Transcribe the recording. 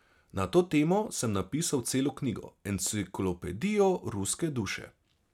Na to temo sem napisal celo knjigo, Enciklopedijo ruske duše.